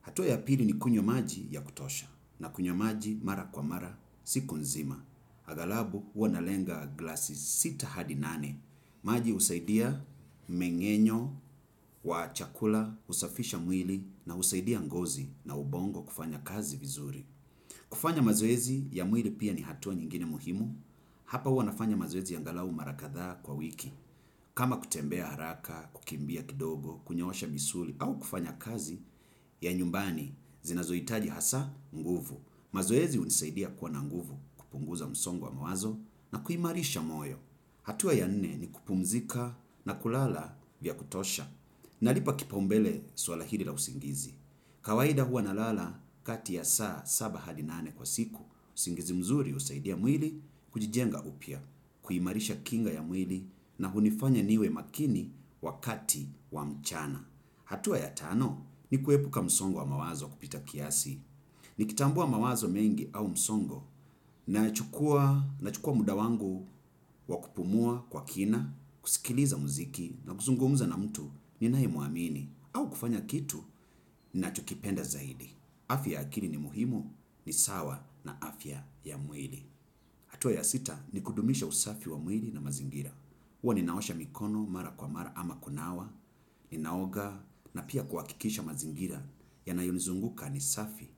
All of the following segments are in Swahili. Hatua ya pili ni kunywa maji ya kutosha. Nakunywa maji mara kwa mara, siku nzima. Haghalabu huwa nalenga glasi sita hadi nane. Maji husaidia mmeng'enyo wa chakula, husafisha mwili na husaidia ngozi na ubongo kufanya kazi vizuri. Kufanya mazoezi ya mwili pia ni hatua nyingine muhimu. Hapa huwa nafanya mazoezi angalau mara kadhaa kwa wiki. Kama kutembea haraka, kukimbia kidogo, kunyoosha misuli au kufanya kazi ya nyumbani zinazohitaji hasa nguvu. Mazoezi hunisaidia kuwa na nguvu kupunguza msongo wa mawazo na kuimarisha moyo. Hatua ya nne ni kupumzika na kulala vya kutosha. Nalipa kipaumbele suala hili la usingizi. Kawaida hua nalala kati ya saa saba hadi nane kwa siku, usingizi mzuri husaidia mwili kujijenga upya, kuimarisha kinga ya mwili na hunifanya niwe makini wakati wa mchana. Hatua ya tano ni kuepuka msongo wa mawazo kupita kiasi. Nikitambua mawazo mengi au msongo nachukua muda wangu wa kupumua kwa kina, kusikiliza muziki na kuzungumza na mtu ninae mwamini. Au kufanya kitu ninacho kipenda zaidi. Afya akili ni muhimu ni sawa na afya ya mwili. Hatua ya sita ni kudumisha usafi wa mwili na mazingira. Huwa ninaosha mikono mara kwa mara ama kunawa, ninaoga na pia kuhakikisha mazingira yanayonizunguka ni safi.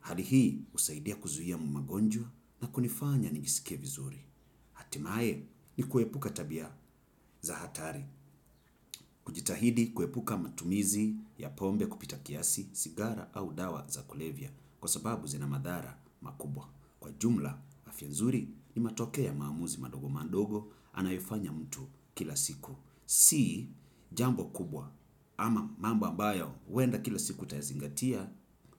Hali hii husaidia kuzuia magonjwa na kunifanya ninjisike vizuri. Hatimae ni kuepuka tabia za hatari. Kujitahidi kuepuka matumizi ya pombe kupita kiasi, sigara au dawa za kulevya kwa sababu zina madhara makubwa. Kwa ujumla, afya nzuri ni matokeo ya maamuzi madogo madogo anayofanya mtu kila siku. Si jambo kubwa ama mambo ambayo wenda kila siku utayazingatia.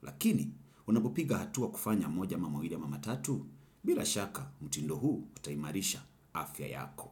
Lakini unapopiga hatua kufanya moja ama mawili ama matatu bila shaka mtindo huu utaimarisha afya yako.